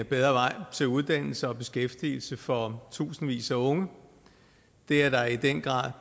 bedre vej til uddannelse og beskæftigelse for tusindvis af unge det er der i den grad